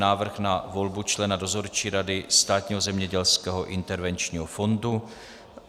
Návrh na volbu člena Dozorčí rady Státního zemědělského intervenčního fondu